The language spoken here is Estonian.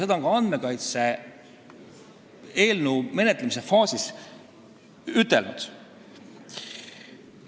Seda on ka eelnõu menetlemise faasis kinnitatud.